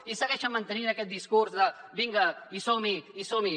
i segueixen mantenint aquest discurs de vinga i som hi i som hi